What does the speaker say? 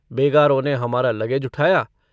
बेगारों ने हमारा लगेज उठाया।